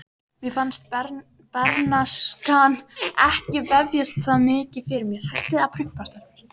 Mér fannst bernskan ekki vefjast það mikið fyrir mér.